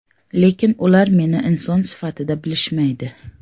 Lekin ular meni inson sifatida bilishmaydi.